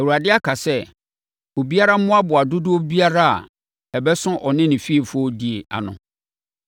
Awurade aka sɛ, ‘Obiara mmoaboa dodoɔ biara a ɛbɛso ɔne ne fiefoɔ die ano.’ ”